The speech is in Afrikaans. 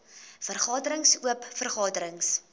vergaderings oop vergaderings